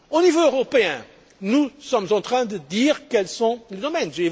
Au niveau européen nous sommes en train de dire quels sont les domaines.